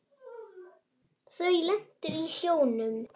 Þau lentu í sjónum.